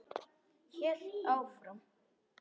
Hélt áfram.